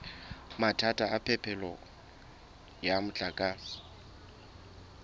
mathata a phepelo ya motlakase